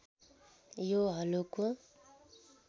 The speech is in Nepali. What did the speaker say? यो हलोको